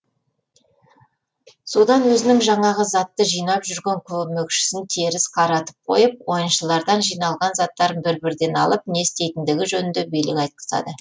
содан өзінің жаңағы затты жинап жүрген көмекшісін теріс қаратып қойып ойыншылардан жиналған заттарын бір бірден алып не істейтіндігі жөнінде билік айтқызады